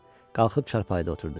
Qalxıb çarpayıda oturdu.